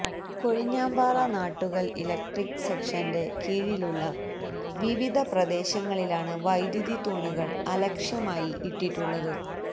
Kozhinjampara Nattukal electric സെക്ഷന്റെ കീഴിലുള്ള വിവിധ പ്രദേശങ്ങളിലാണ് വൈദ്യുതി തൂണുകൾ അലക്ഷ്യമായി ഇട്ടിട്ടുള്ളത്